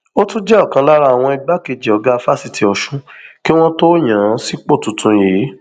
ó tún jẹ ọkan lára àwọn igbákejì ọgá fásitì ọsùn kí wọn tóó yàn án sípò tuntun yìí